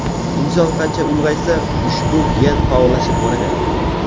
Inson qancha ulg‘aysa, ushbu gen faollashib boraveradi.